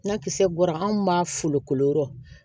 Na kisɛ bɔra anw b'a fulo yɔrɔ